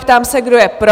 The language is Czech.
Ptám se, kdo je pro?